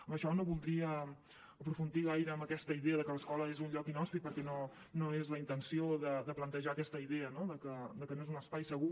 amb això no voldria aprofundir gaire en aquesta idea de que l’escola és un lloc inhòspit perquè no és la intenció de plantejar aquesta idea no de que no és un espai segur